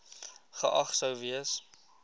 geag sou gewees